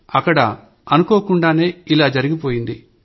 అక్కడ అనుకోకుండానే అలా జరిగిపోయింది